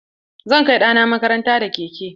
Zan kai ɗana makaranta da keke.